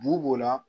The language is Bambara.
Bu b'o la